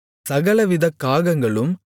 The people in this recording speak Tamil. சகலவித காகங்களும்